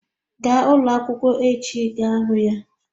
Gaa ụlọ akwụkwọ echi ị ga-ahụ ya